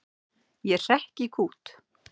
Ég hrekk í kút.